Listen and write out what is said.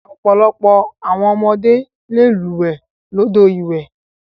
Ọ̀pọ̀lọpọ̀ àwọn ọmọdé le lúwẹ̀ẹ́ lódò ìwẹ̀.